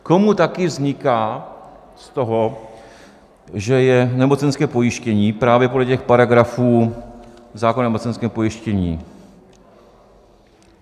Komu také vzniká z toho, že je nemocenské pojištění, právě podle těch paragrafů zákona o nemocenském pojištění?